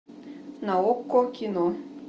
на окко кино